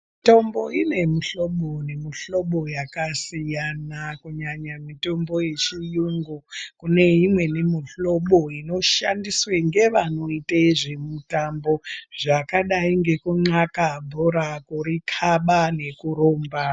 Mitombo ine mishlobo yakasiyana kunyanya mitombo yezviyungu kune imweni mishlobo inoshandiswa ngevanoite zvemitambo zvakadai ngekunywaka bhora, kurikaba nekurumba.